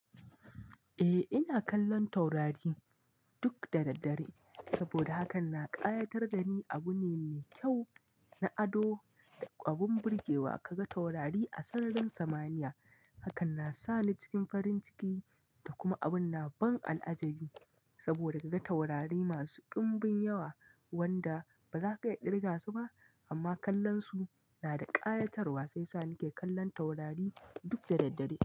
Eh ina kallon taurari duk da. Dadaddare saboda hakan na ƙayatar da ni. Abu ne me kyau na ado da abun burgewa ka ga taurari a sararin samaniya. Hakan na sa ni cikin farin ciki da kuma abin ban al'ajabi saboda ka inga taurari masu dumbin yawa wanda ba za ka iya kirga su ba amma kallon su na da ƙayatarwa sai sa ni ke kallon taurari duk da daddare.